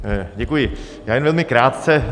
Děkuji, já jen velmi krátce.